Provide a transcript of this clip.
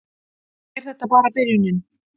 Er þetta bara byrjunin